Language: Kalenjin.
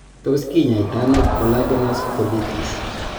Tos kinyaita ano Collagenous Colitis ?